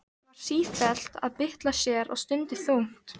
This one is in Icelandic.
Var sífellt að bylta sér og stundi þungt.